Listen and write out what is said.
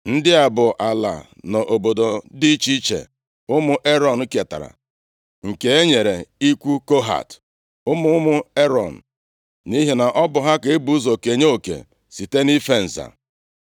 Ndị a bụ ala na obodo dị iche iche ụmụ Erọn ketara, nke e nyere ikwu Kohat, ụmụ ụmụ Erọn, nʼihi na ọ bụ ha ka e bu ụzọ kenye oke site nʼife nza.